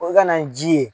O ka na ni ji ye